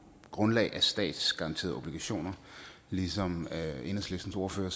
grundlag af statsgaranterede obligationer ligesom enhedslistens ordfører